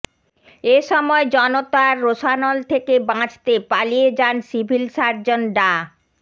এ সময় জনতার রোষানল থেকে বাঁচতে পালিয়ে যান সিভিল সার্জন ডা